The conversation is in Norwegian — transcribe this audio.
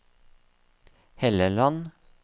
Helleland